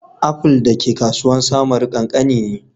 Aful da ke kasuwan samaru kankani ne.